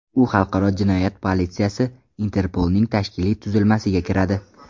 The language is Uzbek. U xalqaro jinoyat politsiyasi – Interpolning tashkiliy tuzilmasiga kiradi.